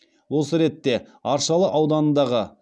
осы ретте аршалы ауданындағы